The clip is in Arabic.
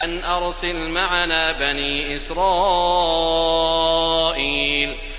أَنْ أَرْسِلْ مَعَنَا بَنِي إِسْرَائِيلَ